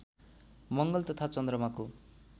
मङ्गल तथा चन्द्रमाको